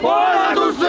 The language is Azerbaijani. Hər şeydən üstün!